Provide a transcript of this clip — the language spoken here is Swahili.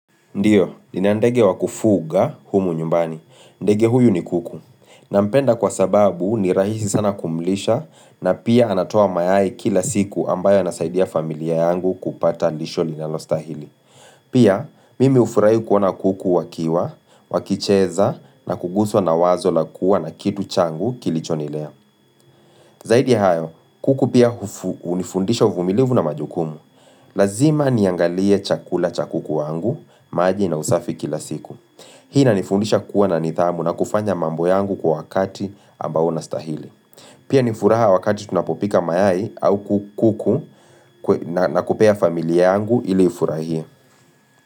Ndiyo, nina ndege wakufuga humu nyumbani. Ndege huyu ni kuku. Nampenda kwa sababu ni rahisi sana kumlisha na pia anatoa mayai kila siku ambayo yanasaidia familia yangu kupata lisho linalostahili. Pia, mimi hufurahia kuona kuku wakiwa, wakicheza na kuguswa na wazo lakua na kitu changu kilichonilea. Zaidi ya hayo, kuku pia hunifundisha uvumilivu na majukumu. Lazima niangalie chakula cha kuku wangu, maji na usafi kila siku Hii inanifundisha kuwa na nidhamu na kufanya mambo yangu kwa wakati ambao unastahili Pia ni furaha wakati tunapopika mayai au kuku na kupea familia yangu ili ifurahie.